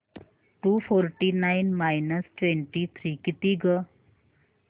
to forty nine minus twenty three किती गं